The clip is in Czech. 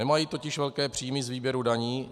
Nemají totiž velké příjmy z výběrů daní.